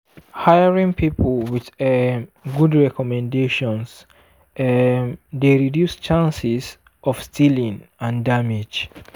hiring people with um good recommendations um dey reduce chances of stealing and damage.